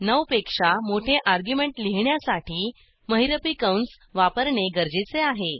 9 पेक्षा मोठे अर्ग्युमेंट लिहिण्यासाठी महिरपी कंस वापरणे गरजेचे आहे